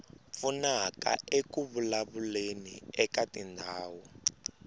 pfunaka eku vulavuleni eka tindhawu